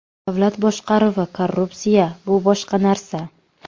Davlat boshqaruvi, korrupsiya bu boshqa narsa.